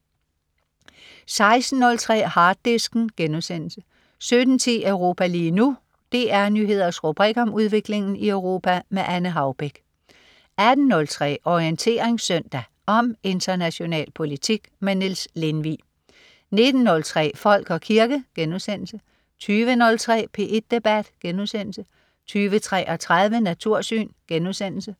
16.03 Harddisken* 17.10 Europa lige nu. DR Nyheders rubrik om udviklingen i Europa. Anne Haubek 18.03 Orientering Søndag. Om international politik. Niels Lindvig 19.03 Folk og kirke* 20.03 P1 Debat* 20.33 Natursyn*